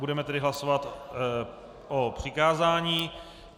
Budeme tedy hlasovat o přikázání.